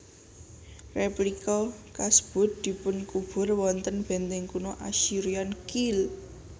Replica kasebut dipunkubur wonten benteng kuno Assyrian Keel